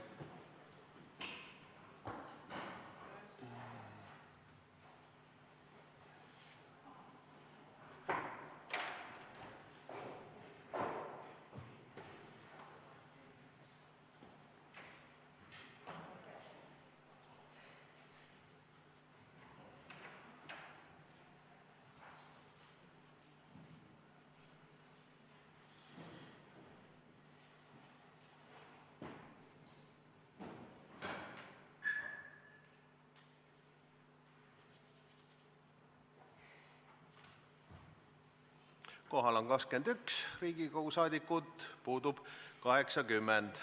Kohaloleku kontroll Kohal on 21 Riigikogu liiget, puudub 80.